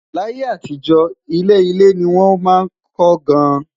là yé àtijó, ilé ilé ní wón má kò gaan